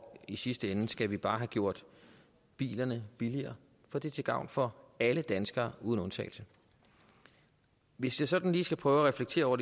i sidste ende skal vi bare have gjort bilerne billigere for det er til gavn for alle danskere uden undtagelse hvis jeg sådan lige skal prøve at reflektere over